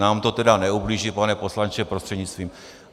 Nám to tedy neublíží, pane poslanče prostřednictvím...